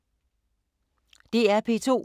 DR P2